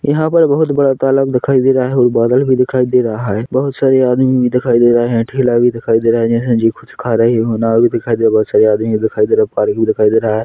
यहाँ पर बहुत बड़ा तालाब दिखाई दे रहा है और बादल भी दिखाई दे रहा है बहुत सारे आदमी भी दिखाई दे रहे है ठेला भी दिखाई दे रहा है जे कुछ खा रहे हो नाव भी दिखाई दे रहे बहुत सारे आदमी भी दिखाई दे रहे पार्क भी दिखाई दे रहा है।